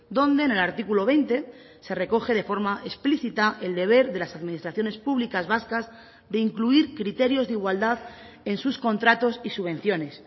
donde en el artículo veinte se recoge de forma explícita el deber de las administraciones públicas vascas de incluir criterios de igualdad en sus contratos y subvenciones